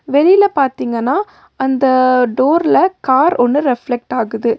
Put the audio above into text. வெளியில பாத்தீங்கன்னா அந்த டோர்ல கார் ஒன்னு ரெஃப்லெக்ட் ஆகுது.